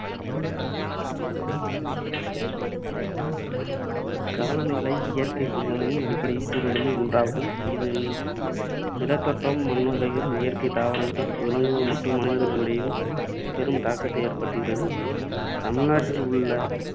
காலநிலை இயற்கைச் சூழ்நிலையின் அடிப்படைக் கூறுகளில் ஒன்றாகும். இதன் நிலத்தோற்றம், மண்வகைகள், இயற்கைத் தாவரங்கள், விலங்குகள் மற்றும் மனிதர்களிடையேயும் பெரும் தாக்கத்தை ஏற்படுத்துகிறது. தமிழ்நாட்டில் உள்ள